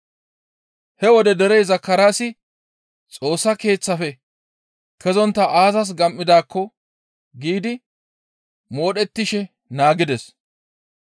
He wode derey Zakaraasi, «Xoossa Keeththaafe kezontta aazas gam7idaakko» giidi modhettishe naagides.